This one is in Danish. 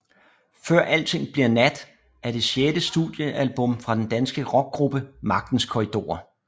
Før alting bliver nat er det sjette studiealbum fra den danske rockgruppe Magtens Korridorer